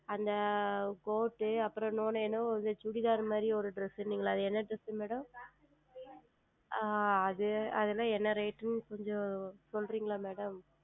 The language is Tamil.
அந்த Court அப்புறம் இனி ஓன்று என்னமோ அந்த Chudithar மாதிரி ஓர் Dress என்னமோ சொன்னீர்கள் அல்லவா அது என்ன DressMadam ஆஹ் அது அது எல்லாம் என்ன Rate என்று கொஞ்சம் சொல்லுகிறீர்களா Madam